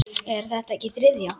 Er þetta ekki þriðja?